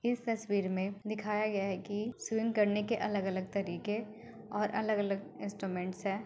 इस तस्वीर में दिखाया गया है की स्विम करने के अलग अलग तरीके और अलग अलग इन्स्ट्रूमेंट्स हैं।